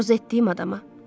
Arzu etdiyim adama.